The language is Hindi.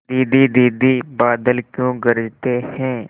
दीदी दीदी बादल क्यों गरजते हैं